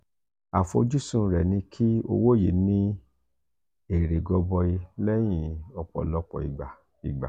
afojusun re ni ki owo yi ni ere goboyi lẹyin opolopo igba. igba.